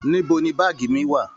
Níbo ní baagi mí wá?